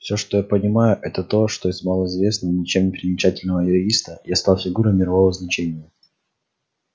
всё что я понимаю это то что из малоизвестного ничем не примечательного юриста я стал фигурой мирового значения